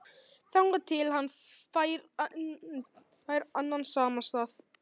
Þangað til hann fær annan samastað